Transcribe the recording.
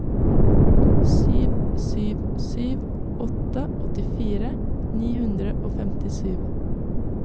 sju sju sju åtte åttifire ni hundre og femtisju